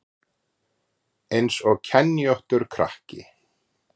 Eins og kenjóttur krakki